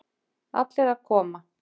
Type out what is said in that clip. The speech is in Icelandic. Allir að koma.